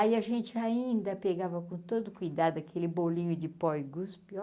Aí a gente ainda pegava com todo cuidado aquele bolinho de pó e guspi.